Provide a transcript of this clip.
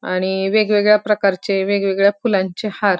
आणि वेगवेगळ्या प्रकारचे वेगवेगळ्या फुलांचे हार--